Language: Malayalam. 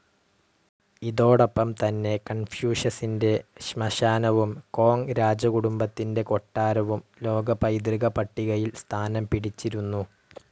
ഇതോടൊപ്പം തന്നെ കൺഫ്യൂഷസിന്റെ ശ്മശാനവും കോങ് രാജകുടുംബത്തിന്റെ കൊട്ടാരവും ലോക പൈതൃക പട്ടികയിൽ സ്ഥാനം പിടിച്ചിരുന്നു.